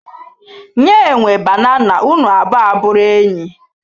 Nye enwe banana unu abụo abụrụ enyi